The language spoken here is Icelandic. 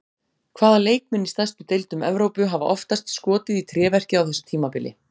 Hvaða leikmenn í stærstu deildum Evrópu hafa oftast skotið í tréverkið á þessu tímabili?